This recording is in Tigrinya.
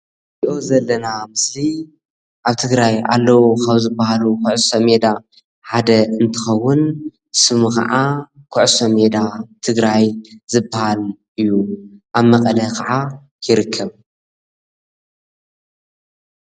እዚ ንሪኦ ዘለና ምስሊ ኣብ ትግራይ ኣለው ካብ ዝባሃሉ ኩዕሶ ሜዳ ሓደ እንትኸውን ስሙ ካዓ ኩዕሶ ሜዳ ትግራይ ዝበሃል እዩ፡፡ ኣብ መቐለ ካዓ ይርከብ፡፡